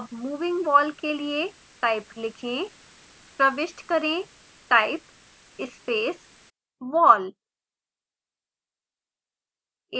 अब moving wall के लिए type लिखें प्रविष्ट करें type स्पेस wall